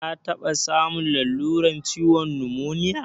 Ka taɓa samun lalurar ciwon numoniya?